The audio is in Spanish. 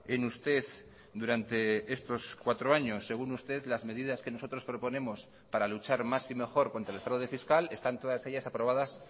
en usted durante estos cuatro años según usted las medidas que nosotros proponemos para luchar más y mejor contra el fraude fiscal están todas ellas aprobadas